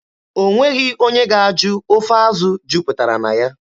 O nweghị onye ga-ajụ ofe azụ jupụtara na ya.